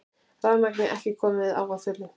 Rafmagn ekki komið á að fullu